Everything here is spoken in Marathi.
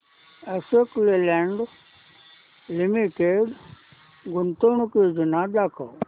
अशोक लेलँड लिमिटेड गुंतवणूक योजना दाखव